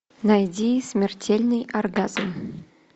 найди смертельный оргазм